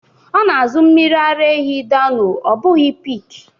Ọ na-azụ mmiri ara ehi Dano ọ bụghi peak.